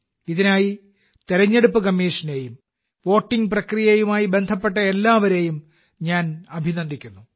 ഇതിനായി തെരഞ്ഞെടുപ്പ് കമ്മീഷനെയും വോട്ടിംഗ് പ്രക്രിയയുമായി ബന്ധപ്പെട്ട എല്ലാവരെയും ഞാൻ അഭിനന്ദിക്കുന്നു